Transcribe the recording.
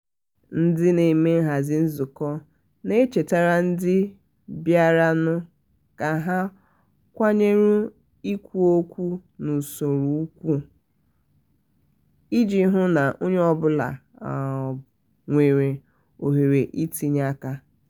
ndi na-eme nhazi nzụkọ na-echetara ndi biaranu ka ha kwanyere ikwu okwu n'usoro ùgwù um iji hụ na onye ọ bụla nwere òhèrè itinye um aka.